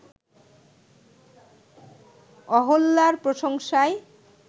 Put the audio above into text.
অহল্যার প্রশংসায়